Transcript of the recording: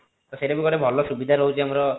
ତ ସେଟା ବି ଗୋଟେ ଭଲ ସୁବିଧା ରହୁଛି ଆମର